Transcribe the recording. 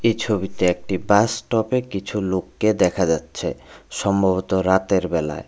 এ ছবিতে একটি বাসস্টপে কিছু লোককে দেখা যাচ্ছে সম্ভবত রাতের বেলায়।